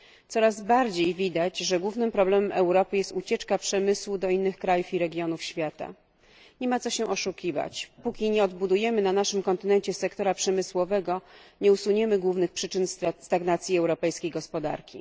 Coraz bardziej widać, że głównym problemem Europy jest ucieczka przemysłu do innych krajów i regionów świata. Nie ma co się oszukiwać póki nie odbudujemy na naszym kontynencie sektora przemysłowego, nie usuniemy głównych przyczyn stagnacji europejskiej gospodarki.